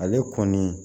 Ale kɔni